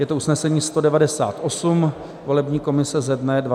Je to usnesení 198 volební komise ze dne 24. června.